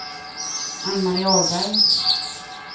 Ann-Marie Ahlberg